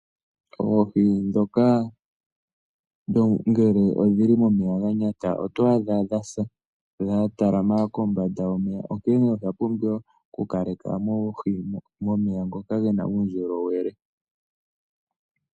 Oohi ndhoka ngele odhi li momeya ga nyata oto adha dha sa, dha talama kombanda yomeya, onkene osha pumbiwa okukale ka oohi momeya ngoka ge na uundjolowele.